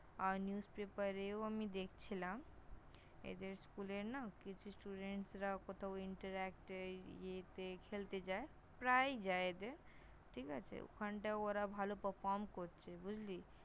আর Newspaper -এও আমি দেখছিলাম, এদের School এর না, কিছু Student -রা কোথাও Interact এর এতে খেলতে যায় ।প্রায়ই যায় এদের, ঠিক আছে। ওখানটায় ওরা ভালো Perform করছে।